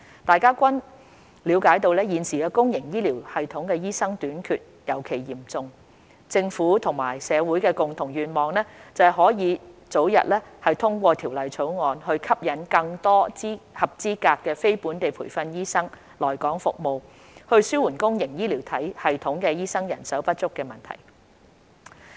大家均了解到現時公營醫療系統醫生短缺尤其嚴重，政府和社會的共同願望是可以早日通過《條例草案》，吸引更多合資格非本地培訓醫生來港服務，紓緩公營醫療系統醫生人手不足的問題。